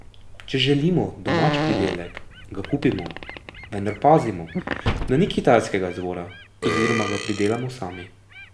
Če želimo domač pridelek, ga kupimo, vendar pazimo, da ni kitajskega izvora, oziroma ga pridelamo sami.